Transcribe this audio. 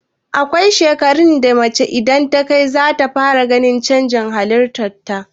Akwai shekarun da idan mace takai, zata fara ganin canji a halitar ta.